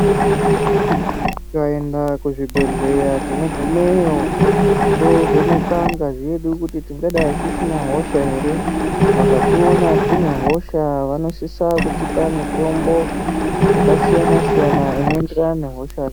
Tikaenda kuzvibhehleya tinogumeyo tinovhenekwa ngazi yedu kuti tingadai tisina hosha ere vakationa tinehosha vanosvitsa kutipa mutombo yakasiyana siyana inoenderana nehosha